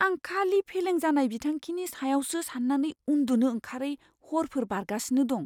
आं खालि फेलें जानाय बिथांखिनि सायावसो सान्नानै उन्दुनो ओंखारै हरफोर बारगासिनो दं।